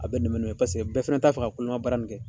A bɛ nɛmɛ nɛmɛ paseke bɛɛ fɛnɛ t'a fɛ ka koloma baara in kɛ